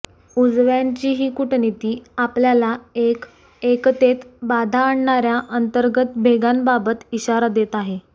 उजव्यांची ही कूटनीती आपल्याला एक एकतेत बाधा आणणाऱ्या अंतर्गत भेगांबाबत इशारा देत आहे